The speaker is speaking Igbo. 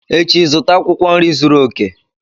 Echi zụta akwụkwọ nri zuru oke!